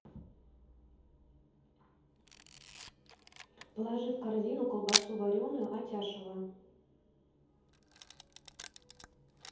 положи в корзину колбасу вареную атяшево